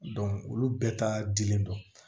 olu bɛɛ ta dilen don